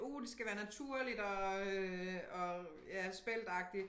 Uh det skal være naturligt og øh og ja speltagtigt